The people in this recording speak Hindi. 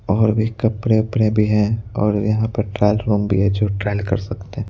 और भी कपड़े वपड़े भी हैं और यहां पर ट्रायल रूम भी है जो ट्रायल कर सकते हैं।